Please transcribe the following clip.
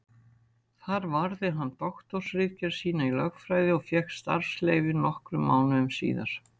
Þar varði hann doktorsritgerð sína í lögfræði og fékk starfsleyfi nokkrum mánuðum síðar.